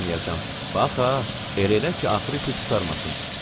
Bax ha, elə elə ki, axırı pis qurtarmasın.